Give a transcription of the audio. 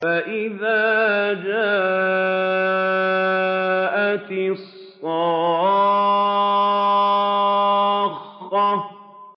فَإِذَا جَاءَتِ الصَّاخَّةُ